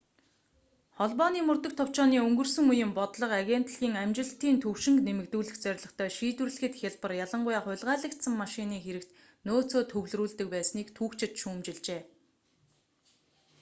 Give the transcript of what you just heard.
холбооны мөрдөх товчооны өнгөрсөн үеийн бодлого агентлагийн амжилтын төвшинг нэмэгдүүлэх зорилготой шийдвэрлэхэд хялбар ялангуяа хулгайлагдсан машины хэрэгт нөөцөө төвлөрүүлдэг байсныг түүхчид шүүмжилжээ